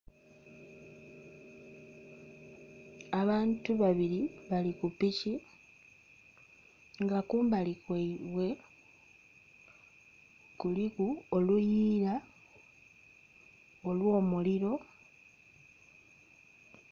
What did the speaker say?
Abantu babiri bali ku piki, nga kumbali kwaibwe kuliku oluyiira olw'omuliro.